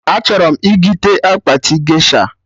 A chọrọ m.igite akpati gesha